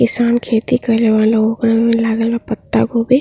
किसान खेती कइले बालो। ओकरा मे लागल बा पत्तागोभी।